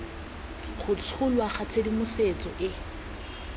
go tsholwa ga tshedimosetso e